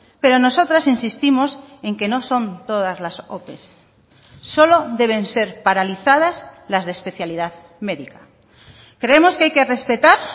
pero nosotras insistimos en que no son todas las ope solo deben ser paralizadas las de especialidad médica creemos que hay que respetar